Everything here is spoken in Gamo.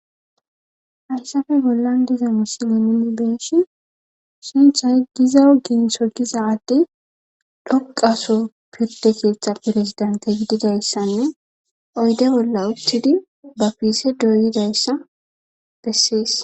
hayssafe bollan diza misilen nuni beyshin sinthay giza ginso giza adde dhoqaso pirde keeththa pirezidente gididayssanne oyde bolla uthtidi ba piise dooyidayssa bessees